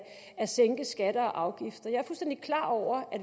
at sænke skatter og afgifter jeg er fuldstændig klar over at